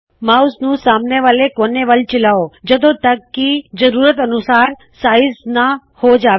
mouse ਨੂੰ ਸਾਮਣੇ ਵਾਲ਼ੇ ਕੋਣੇ ਵੱਲ ਚਲਾਓ ਜਦੋਂ ਤਕ ਕੀ ਜ਼ਰੂਰਤ ਅਨੁਸਾਰ ਸਾਈਜ਼ ਨਾਂ ਹੋ ਜਾਵੇ